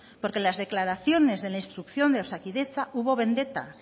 porque las declaraciones de la instrucción de osakidetza hubo vendetta